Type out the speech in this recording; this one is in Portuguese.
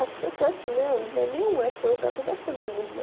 Acho que até, assim, né? Não é nem uma, é as coisas que estão acontecendo no mundo, né?